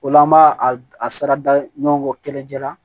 O la an b'a a sara da ɲɔgɔn kelencɛ la